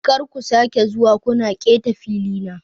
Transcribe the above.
Kar ku sake zuwa kuna keta filina.